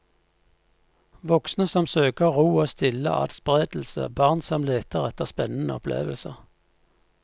Voksne som søker ro og stille adspredelse, barn som leter etter spennende opplevelser.